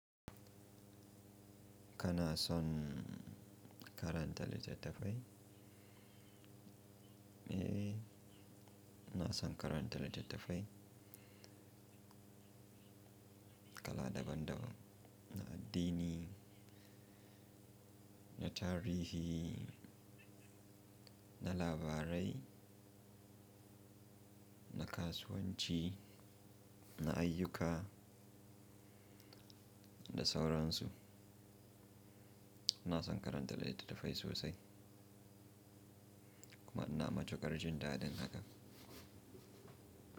Kana son karanta littattafai? Eh, ina son karanta littattafai. Kala daban-daban, na addini, na tarihi, na labarai, na kasuwanci, na ayyuka da sauransu. iNa son karanta littattafai sosai, kuma ina matukar jin da din hakan.